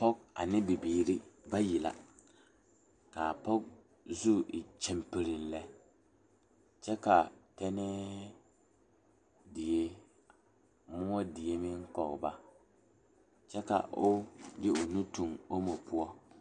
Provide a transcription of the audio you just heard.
Pɔge ane bibiiri bayi la kaa pɔge zu e kyampereŋ lɛ kyɛ kaa tɛnee die moɔ die pɔge o ba kyɛ ka o tuŋ o woɔ